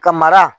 Ka mara